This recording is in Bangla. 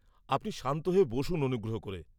-আপনি শান্ত হয়ে বসুন অনুগ্রহ করে।